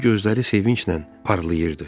Onun gözləri sevinclə parlayırdı.